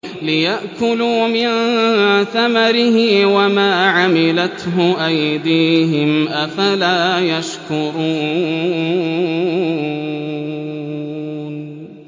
لِيَأْكُلُوا مِن ثَمَرِهِ وَمَا عَمِلَتْهُ أَيْدِيهِمْ ۖ أَفَلَا يَشْكُرُونَ